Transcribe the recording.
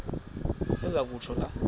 aze kutsho la